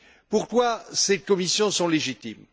Pourquoi ces commissions sont elles légitimes?